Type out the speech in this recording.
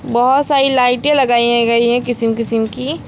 बहुत सारी लाइटें लगाई गई हैं किस्म किस्म की।